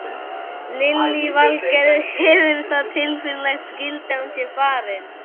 Lillý Valgerður: Hefur það tilfinningalegt gildi að hún sé farin?